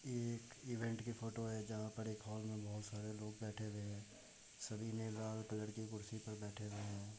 ये एक इवेंट की फ़ोटो है जहाँ पर एक हॉल में बहुत सारे लोग बेठे हुए हैं सभी ने लाल कलर की कुर्सी पर बेठे हुए है।